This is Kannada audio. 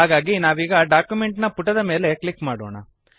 ಹಾಗಾಗಿ ನಾವೀಗ ಡಾಕ್ಯುಮೆಂಟ್ ನ ಪುಟದ ಮೇಲೆ ಕ್ಲಿಕ್ ಮಾಡೋಣ